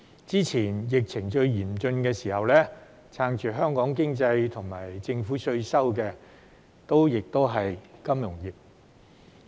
早前在疫情最嚴峻的時候，撐住香港經濟和政府稅收的亦是金融業。